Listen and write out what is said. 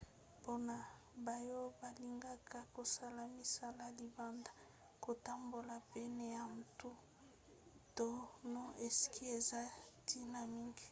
mpona baoyo balingaka kosala misala libanda kotambola pene ya mbu to na sky eza ntina mingi